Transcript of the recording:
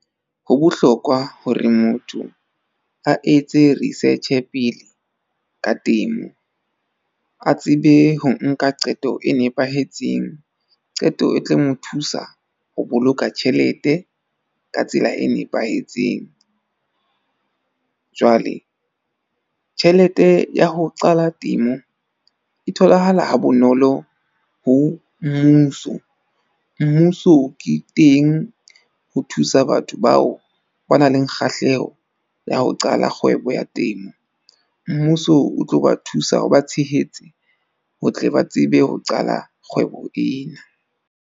Ho bohlokwa hore motho a etse research-e pele ka temo. A tsebe ho nka qeto e nepahetseng. Qeto e tlo mo thusa ho boloka tjhelete ka tsela e nepahetseng. Jwale tjhelete ya ho qala temo e tholahala ha bonolo ho mmuso. Mmuso ke teng o thusa batho bao ba nang le kgahleho ya ho qala kgwebo ya temo. Mmuso o tlo ba thusa ho ba tshehetse, ho tle ba tsebe ho qala kgwebo ena.